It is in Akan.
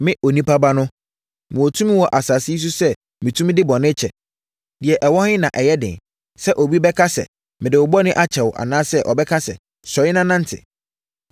Me Onipa Ba no, mewɔ tumi wɔ asase yi so sɛ metumi de bɔne kyɛ. Deɛ ɛwɔ he na ɛyɛ den, sɛ obi bɛka sɛ, ‘Mede wo bɔne akyɛ wo’ anaasɛ ɔbɛka sɛ, ‘Sɔre na nante?’ ”